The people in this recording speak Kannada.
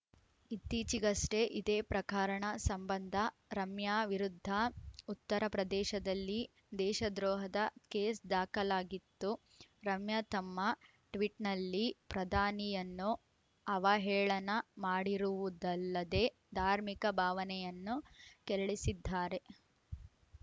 ಇತ್ತೀಚೆಗಷ್ಟೇ ಇದೇ ಪ್ರಕಾರಣ ಸಂಬಂಧ ರಮ್ಯಾ ವಿರುದ್ಧ ಉತ್ತರ ಪ್ರದೇಶದಲ್ಲಿ ದೇಶದ್ರೋಹದ ಕೇಸ್‌ ದಾಖಲಾಗಿತ್ತು ರಮ್ಯಾ ತಮ್ಮ ಟ್ವಿಟ್‌ನಲ್ಲಿ ಪ್ರಧಾನಿಯನ್ನು ಅವಹೇಳನ ಮಾಡಿರುವುದಲ್ಲದೆ ಧಾರ್ಮಿಕ ಭಾವನೆಯನ್ನು ಕೆರಳಿಸಿದ್ದಾರೆ